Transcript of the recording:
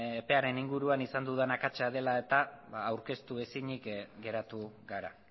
epearen inguruan izan dudan akatsa dela eta aurkeztu ezinik geratu gara